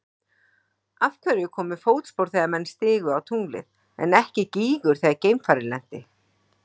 Af hverju komu fótspor þegar menn stigu á tunglið en ekki gígur þegar geimfarið lenti?